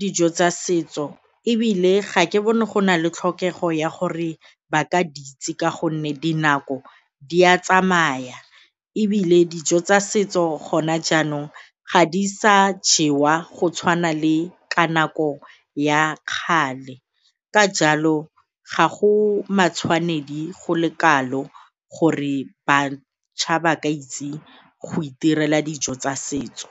dijo tsa setso ebile ga ke bone go na le tlhokego ya gore ba ka di itse ka gonne dinako di a tsamaya, ebile dijo tsa setso gona jaanong ga di sa jewa go tshwana le ka nako ya kgale. Ka jalo, ga go matshwanedi go le kalo gore batjha ba ke itse go itirela dijo tsa setso.